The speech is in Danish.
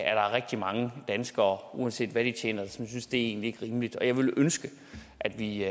rigtig mange danskere uanset hvad de tjener egentlig ikke rimeligt jeg ville ønske at vi